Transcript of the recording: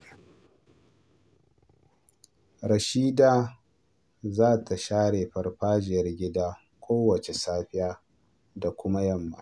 Rashida za ta share farfajiyar gida kowace safiya da kuma yamma..